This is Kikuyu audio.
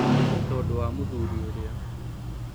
Tondũ wa mũthuri ũrĩa.